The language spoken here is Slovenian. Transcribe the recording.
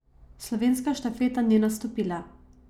Slovenska štafeta ni nastopila.